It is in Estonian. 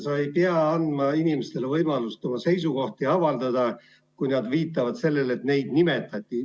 Sa ei pea andma inimestele võimalust oma seisukohti avaldada, kui nad viitavad sellele, et neid nimetati.